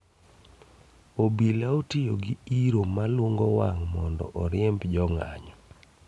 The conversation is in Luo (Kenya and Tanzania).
Obila otiyo gi iro malungo wang' mondo oriemb jong'anyo